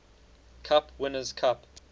cup winners cup